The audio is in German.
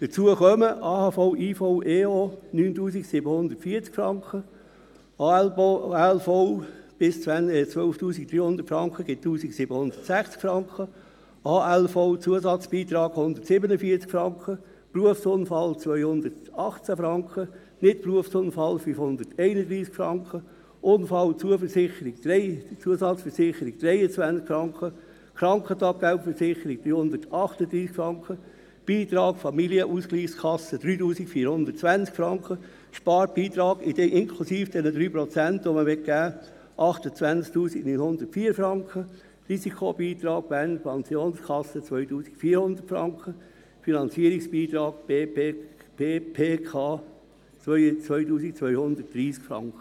Hinzu kommen AHV/IV/EO: 9740 Franken, ALV – bis 12 300 Franken im Monat – 1760 Franken, ALV-Zusatzbeitrag: 147 Franken, Berufsunfallversicherung: 218 Franken, Nichtberufsunfallversicherung: 531 Franken, Unfallzusatzversicherung: 23 Franken, Krankentaggeldversicherung: 338 Franken, Beitrag Familienausgleichskasse: 3420 Franken, Sparbeitrag, inklusive der vorgesehenen 3 Prozent: 28 904 Franken, Risikobeitrag Bernische Pensionskasse (BPK): 2400 Franken, Finanzierungsbeitrag BPK: 2230 Franken.